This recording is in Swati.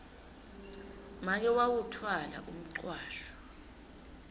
make wawutfwala umcwasho